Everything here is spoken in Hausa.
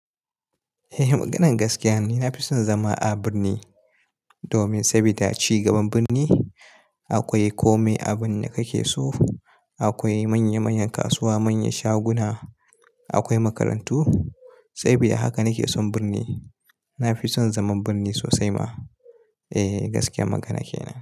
Eh, maganan gaskiya ni. Na fi son zama a birni domin saboda a cigaban birni akwai kome a birni da kake so. Akwai manya-manyan kasuwa, manyan shaguna, akwai makarantu. Saboda haka nake son birni. Na fi son zaman birni sosai ma. Eh, gaskiyar magana kenan.